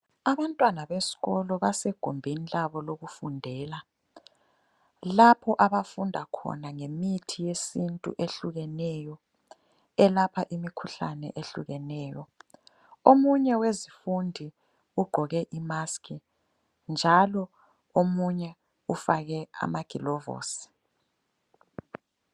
Abantwana beskolo basegumbini labo lokufundela, lapho abafunda khona ngemithi yesintu ehlukeneyo elapha imikhuhlane ehlukeneyo. Omunye wezifundi ugqoke imaskhi njalo omunye ufake amagilovosi.